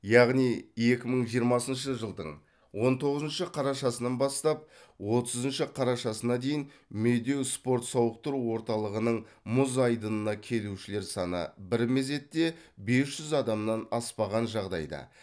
яғни екі мың жиырмасыншы жылдың он тоғызыншы қарашасынан бастап отызыншы қарашасына дейін медеу спорт сауықтыру орталығының мұз айдынына келушілер саны бір мезетте бес жүз адамнан аспаған жағдайда